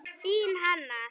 Þín Hanna.